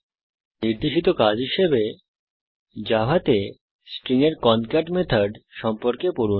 এই টিউটোরিয়ালের নির্দেশিত কাজ হিসাবে জাভাতে স্ট্রিং এর কনক্যাট মেথড সম্পর্কে পড়ুন